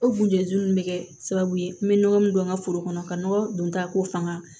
O kunjɛnnin bɛ kɛ sababu ye n bɛ nɔgɔ min don n ka foro kɔnɔ ka nɔgɔ don ta ko fanga